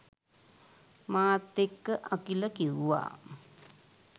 මාත් එක්ක අකිල කිව්වා.